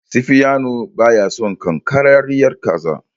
Sifiyanu baya son ƙanƙararriyar kaza.